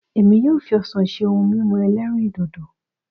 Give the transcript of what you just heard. Èmi yóò fi ọsàn ṣe ohun mímu ẹlẹ́rìndòdò